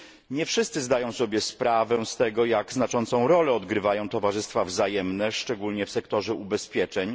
Nie wszyscy zdają sobie sprawę z tego, jak znaczącą rolę odgrywają towarzystwa wzajemne, szczególnie w sektorze ubezpieczeń.